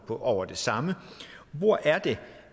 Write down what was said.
over det samme hvor er det